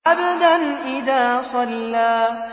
عَبْدًا إِذَا صَلَّىٰ